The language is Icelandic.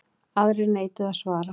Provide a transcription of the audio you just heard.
Aðrir neituðu að svara.